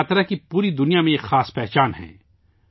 رتھ یاترا کی پوری دنیا میں ایک الگ پہچان ہے